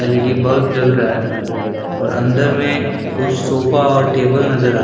LED bulb जल रहा है और अंदर में कुछ सोफा और टेबल नजर आ--